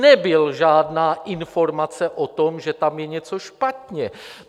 Nebyla žádná informace o tom, že tam je něco špatně.